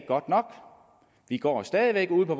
godt nok de går stadig væk ude på